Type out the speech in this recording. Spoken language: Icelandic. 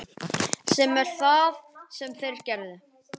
Sem er það sem þeir eru.